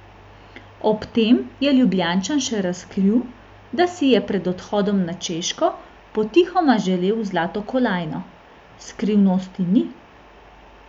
Ob tem je Ljubljančan še razkril, da si je pred odhodom na Češko potihoma želel zlato kolajno: "Skrivnosti ni.